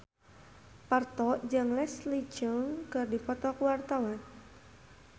Parto jeung Leslie Cheung keur dipoto ku wartawan